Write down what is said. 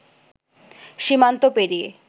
সীমান্ত পেরিয়ে